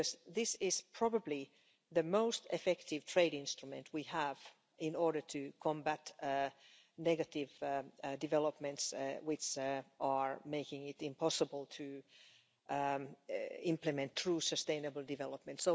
This is probably the most effective trade instrument we have in order to combat the negative developments that are making it impossible to implement true sustainable development.